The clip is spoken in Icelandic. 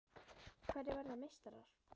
Hverjir verða meistarar?